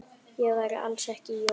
Það væri alls ekki Jói.